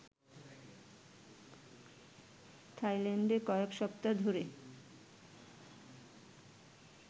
থাইল্যান্ডে কয়েক সপ্তাহ ধরে